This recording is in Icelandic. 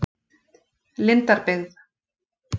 Lindarbyggð